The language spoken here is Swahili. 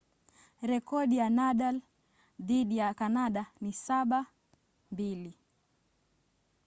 rekodi ya nadal dhidi ya kanada ni 7-2